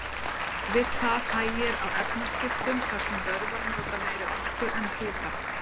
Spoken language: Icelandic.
Við það hægir á efnaskiptum þar sem vöðvar nota meiri orku en fita.